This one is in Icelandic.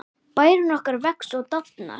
Bærinn okkar vex og dafnar.